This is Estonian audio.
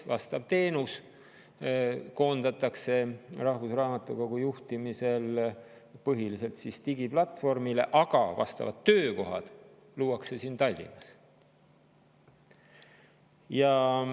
Teenus koondatakse rahvusraamatukogu juhtimisel põhiliselt digiplatvormile ja vajalikud töökohad luuakse siin Tallinnas.